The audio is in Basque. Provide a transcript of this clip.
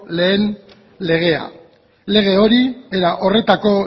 lehen legea lege hori era horretako